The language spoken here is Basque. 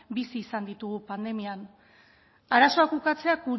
bizi izan ditugu pandemian arazoak ukatzea